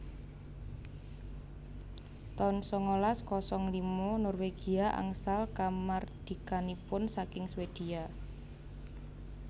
taun sangalas kosong lima Norwegia angsal kamardikanipun saking Swedia